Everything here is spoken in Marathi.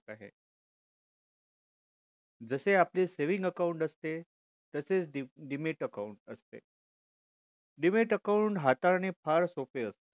जसे आपले saving account असते तसेच dmat dmat account असते dmat account हाताळणे फार सोपे असते